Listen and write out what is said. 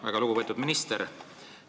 Väga lugupeetud minister!